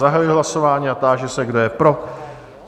Zahajuji hlasování a táži se, kdo je pro?